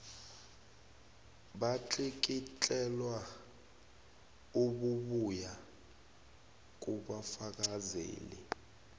batlikitlelwa obubuya kubafakazeli